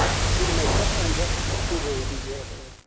Bir məktəb ancaq bir rəngi geyə bilər.